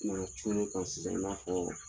N'a cun n'i kan sisan i n'a fɔ